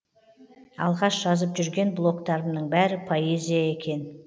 алғаш жазып жүрген блогтарымның бәрі поэзия екен